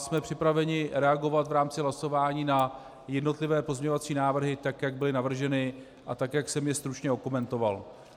Jsme připraveni reagovat v rámci hlasování na jednotlivé pozměňovací návrhy tak, jak byly navrženy, a tak, jak jsem je stručně okomentoval.